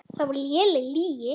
Það var léleg lygi.